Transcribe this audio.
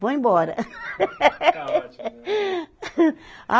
Vou embora. Calma Ah